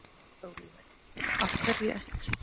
Sólveig: Af hverju ekki?